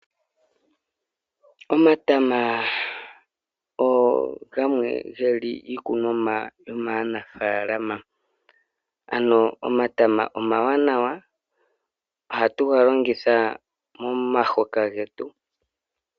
Omatama gamwe geli iikunomwa yomaanafalama. Omatama omawanawa. Ohatu ga longitha momahoka getu.